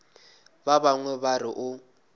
ba bangwe ba re o